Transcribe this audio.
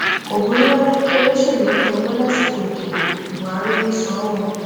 kò burú rárá kí olóṣèlú pín owó lásìkò ìdìbò buhari ló sọ ọ o